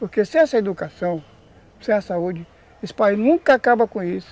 Porque sem essa educação, sem a saúde, esse país nunca acaba com isso.